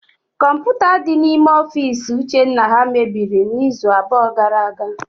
Kọmputa dị n'ofiisi ụchenna ha mebiri n'izuụka abụọ gara aga.